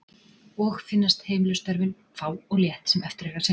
Og finnast heimilisstörfin fá og létt sem eftir er að sinna.